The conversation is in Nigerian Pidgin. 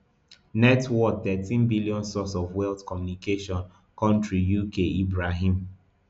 net worththirteen billion source of wealth communications country uk ibrahim